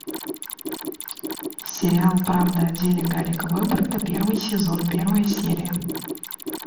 сериал правда о деле гарри квеберта первый сезон первая серия